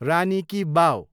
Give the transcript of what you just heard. रानी ki वाव